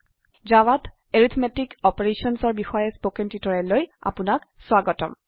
জাভাতArithmetic Operationsঅৰ বিশয়ে স্পকেন টিউটোৰিয়ালেলৈ আপনাক স্বাগতম